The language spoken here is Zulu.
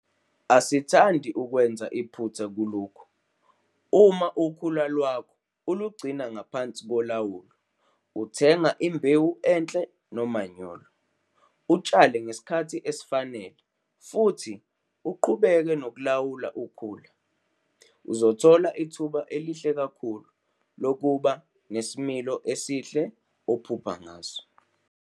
Asithandi ukwenza iphutha kulokhu - uma ukhula lwakho ulugcina ngaphansi kolawulo, uthenga imbewu enhle nomanyolo, utshale ngesikhathi esifanele futhi uqhubeke nokulawula ukhula - uzothola ithuba elihle kakhulu lokuba nesilimo esihle ophupha ngaso.